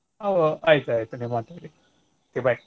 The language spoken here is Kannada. ಅ ಒ~ ಆಯ್ತ್ ಆಯ್ತ್ ನೀವ್ ಮಾತಾಡಿ okay bye .